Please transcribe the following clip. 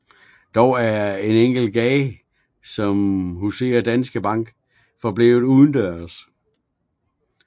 Dog er en enkelt gade som huser Danske Bank forblevet udendørs